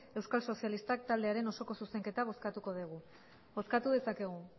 euskal sozialistak taldearen osoko zuzenketa bozkatuko dugu bozkatu dezakegu